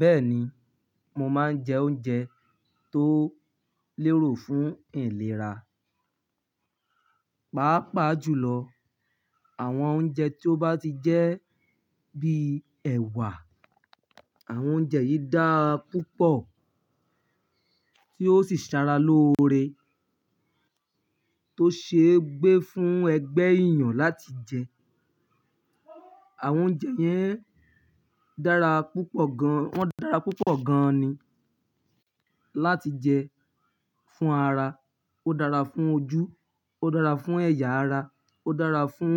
Bẹ́ẹ̀ni, mo máa ń jẹ oúnjẹ tó lérò fún ìlera. Pàápàá jùlọ àwọn oúnjẹ tí ó bá ti jẹ́ bí ẹwà. Àwọn oúnjẹ yìí dára púpọ̀ tí ó sì sara lóore tó ṣe gbé fún ẹgbẹ́ èèyàn láti jẹ. Àwọn oúnjẹ yẹn dára púpọ̀ gan- wọ́n dára púpọ̀ gan ni láti jẹ fún ara. Ó dára fún ojú, ó dára fún ẹ̀yà ara, ó dára fún